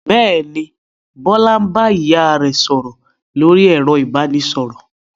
Bẹ́ẹ̀ ni, Bọ́lá bá ìyá rẹ̀ sọ̀rọ̀ lórí ẹ̀rọ ìbanisọ̀rọ̀.